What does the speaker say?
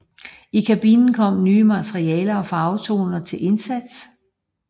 I kabinen kom nye materialer og farvetoner til indsats